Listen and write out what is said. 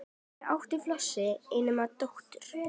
Fyrir átti Flosi eina dóttur